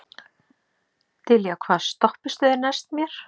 Dilja, hvaða stoppistöð er næst mér?